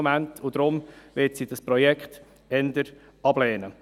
Deshalb wird sie das Projekt eher ablehnen.